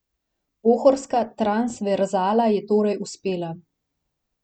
Pohorska transverzala je torej uspela.